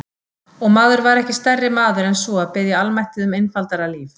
Og maður var ekki stærri maður en svo að biðja almættið um einfaldara líf.